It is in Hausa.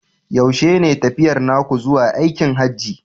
Yaushe ne tafiyar naku zuwa aikin Hajji?